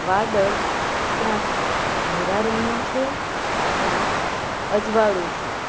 વાદળ ક્યાંક ઘેરા રંગનું છે ક્યાંક અજવાળું છે.